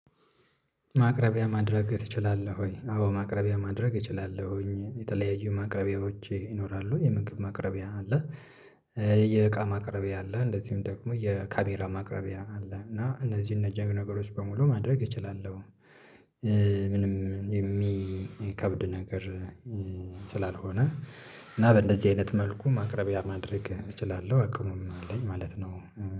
ማቅረቢያ ማድረግ ትችላለህ ወይ? አዎ ማቅረቢያ ማድረግ እችላለሁኝ የተለያዩ ማቅረቢያዎች ይኖራሉ የምግብ ማቅረቢያ አለ፤ የእቃ ማቅረቢያ አለ እንደዚሁም ደግሞ የካሜራ ማቅረቢያ አለ እና እነዚህን ነገሮች በሙሉ ማድረግ እችላለሁ ምንም የሚከብድ ነገር ስላልሆነ እና በእንደዚህ አይነት መልኩ ማቅረቢያ ማድረግ እችላለሁ አቅሙም አለኝ ማለት ነው።